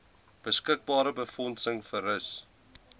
beskikbare befondsing versus